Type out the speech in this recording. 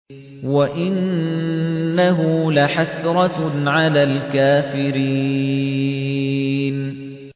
وَإِنَّهُ لَحَسْرَةٌ عَلَى الْكَافِرِينَ